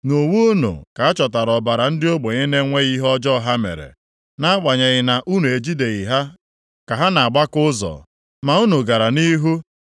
Nʼuwe unu ka achọtara ọbara ndị ogbenye na-enweghị ihe ọjọọ ha mere, nʼagbanyeghị na unu ejideghị ha ka ha nʼagbaka ụzọ. Ma unu gara nʼihu